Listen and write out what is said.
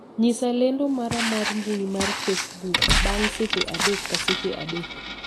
nyisa lendo mara mar mbui mar facebook bang' seche adek ka seche adek